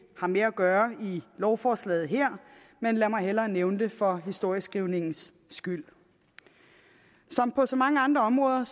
har med at gøre i lovforslaget her men lad mig hellere nævne det for historieskrivningens skyld som på så mange andre områder